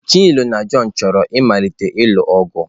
Chinelo na John chọrọ ịmalite ịlụ ọgụ.